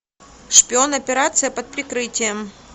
шпион операция под прикрытием